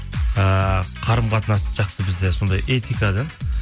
ыыы қарым қатынас жақсы бізде сондай этика да